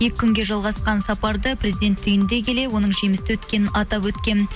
екі күнге жалғасқан сапарды президент түйіндей келе оның жемісті өткенін атап өткен